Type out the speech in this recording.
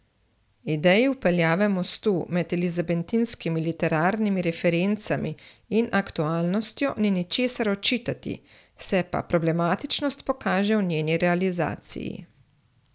Ideji vpeljave mostu med elizabetinskimi literarnimi referencami in aktualnostjo ni ničesar očitati, se pa problematičnost pokaže v njeni realizaciji.